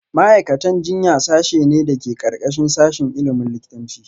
Ma’aikatan jinya sashe ne da ke ƙarƙashin sashin ilimin likitanci